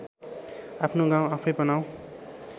आफ्नो गाउँ आफैँ बनाऔँ